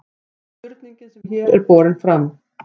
spurningin sem hér er borin fram